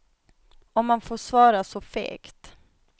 Om man får svara så fegt.